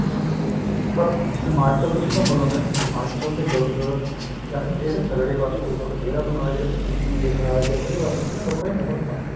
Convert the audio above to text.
ਪਰ ਹਿਮਾਚਲ ਤੁਸੀਂ ਘੁੰਮਲੋਗੇ ਨਾ ਹਿਮਾਚਲ ਦੇ ਲੋਕ ਜਾਂ ਇਹਦੇ ਥੱਲੜੇ ਪਾਸੇ ਦੇ ਲੋਕ ਦੇਹਰਾਦੂਨ ਆਲੇ ਜਿਹੜੇ UP ਬਿਹਾਰ ਜਾਂ ਇਧਰਲੇ ਪਾਸੇ ਦੇ ਲੋਕਾਂ ਚ ਬਹੁਤ ਫਰਕ ਹੈ